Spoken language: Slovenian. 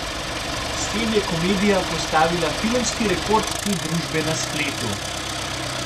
S tem je komedija postavila filmski rekord te družbe na spletu.